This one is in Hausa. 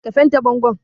Ka fente bangon.